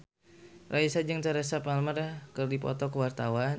Raisa jeung Teresa Palmer keur dipoto ku wartawan